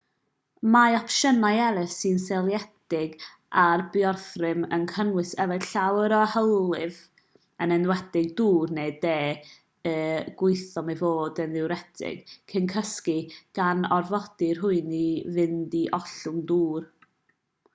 mae opsiynau eraill sy'n seiliedig ar biorhythm yn cynnwys yfed llawer o hylif yn enwedig dŵr neu de y gwyddom ei fod yn ddiwretig cyn cysgu gan orfodi rhywun i fynd i ollwng dŵr